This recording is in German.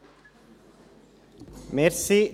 Kommissionssprecher der JuKo.